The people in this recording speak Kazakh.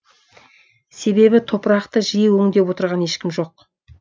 себебі топырақты жиі өңдеп отырған ешкім жоқ